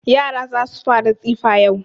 Yara za su fara tsifa yau.